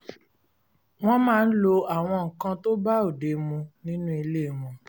wọ́n máa ń lo àwọn nǹkan tó bá òde mu nínú ilé wọn